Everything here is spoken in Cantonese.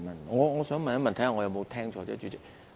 我想問一問，看看我有沒有聽錯，主席。